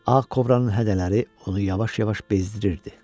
Ağ kobranın hədələri onu yavaş-yavaş bezdirirdi.